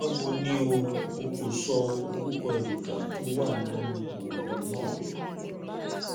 báwo ni o? o kò sọ orúkọ èròjà tó wà nínú oògùn náà